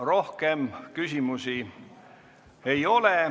Rohkem küsimusi ei ole.